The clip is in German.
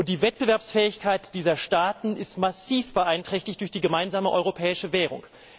Die Wettbewerbsfähigkeit dieser Staaten ist massiv beeinträchtigt durch die gemeinsame europäische Währung.